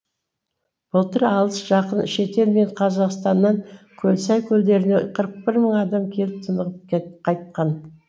былтыр алыс жақын шетел мен қазақстаннан көлсай көлдеріне қырық бір мың адам келіп тынығып қайтқан